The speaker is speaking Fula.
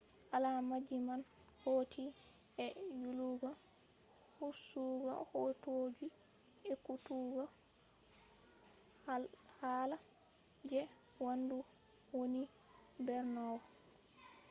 alaamaji man hauti e yillugo hosugo hootoji ekkutugo hala je waandu wooni borneo